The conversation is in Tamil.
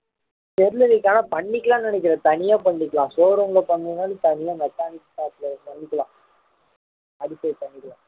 தெரியல ஆனா பண்ணிக்கலாம்ன்னு நினைக்கிறேன் தனியா பண்ணிக்கலாம் showroom ல பண்ற மாறி தனியா mechanic shop ல பண்ணிக்கலாம் அது போய் பண்ணிக்கலாம்